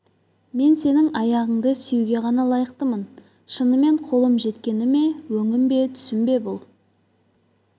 мен сенің аяғыңды сүюге ғана лайықтымын шынымен қолым жеткені ме өңім бе бұл түсім бе бұл